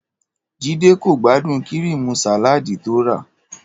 Jídé kò gbádùn kíríìmù sàláàdì tó rà